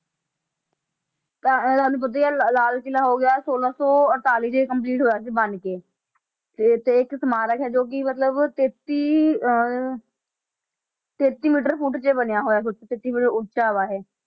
ਤਾਂ ਤੁਹਾਨੂੰ ਪਤਾ ਹੀ ਆ ਲਾ~ ਲਾਲ ਕਿਲ੍ਹਾ ਹੋ ਗਿਆ ਛੋਲਾਂ ਸੌ ਅੜਤਾਲੀ 'ਚ ਇਹ complete ਹੋਇਆ ਸੀ ਬਣਕੇ, ਤੇ ਤੇ ਇੱਕ ਸਮਾਰਕ ਹੈ ਜੋ ਕਿ ਮਤਲਬ ਤੇਤੀ ਅਹ ਤੇਤੀ ਮੀਟਰ ਫੁੱਟ 'ਚ ਬਣਿਆ ਹੋਇਆ ਤੇਤੀ ਫੁੱਟ ਉੱਚਾ ਵਾ ਇਹ